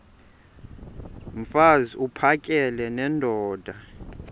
mfaz uphakele nendoda